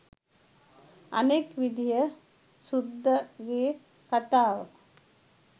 අනෙක් විදිය සුද්දගෙ කතාව